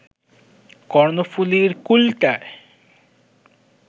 কর্ণফুলীর কূলটায়